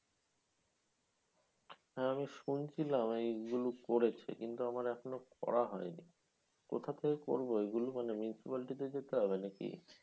হ্যাঁ আমি শুনছিলাম এইগুলো করেছে কিন্তু আমার এখনও করা হয় নি। কোথা থেকে করবো এগুলো? মানে, municipality তে যেতে হবে নাকি?